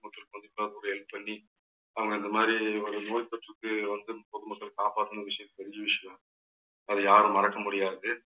மக்களுக்கு இப்ப கூட help பண்ணி அவங்க இந்த மாதிரி ஒரு நோய் தொற்றுக்கு வந்து பொதுமக்கள் காப்பாத்தின விஷயம் தெரிஞ்ச விஷயம். அதை யாரும் மறக்க முடியாது